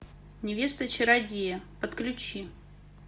невеста чародея подключи